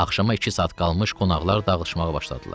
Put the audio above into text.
Axşama iki saat qalmış qonaqlar dağılmağa başladılar.